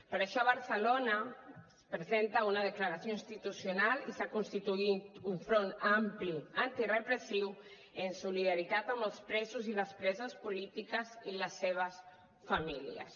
per això a barcelona es presen·ta una declaració institucional i s’ha constituït un front ampli antirepressiu en soli·daritat amb els presos i les preses polítiques i les seves famílies